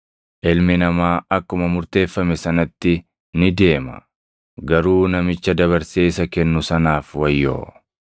Ilmi Namaa akkuma murteeffame sanatti ni deema. Garuu namicha dabarsee isa kennu sanaaf wayyoo!”